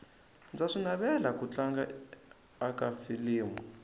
ndza swi navela ku tlanga aka filimu